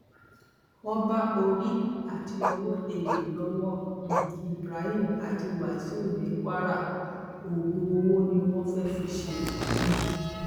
wọn bá orí àti owó èèyàn lọwọ um ibrahim àti wàsíù ní kwara oògùn owó ni wọn fẹẹ fi í ṣe um